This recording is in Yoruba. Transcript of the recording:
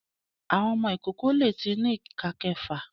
Àwọn ọmọ ìkókó lẹ tí ní ìká méfà.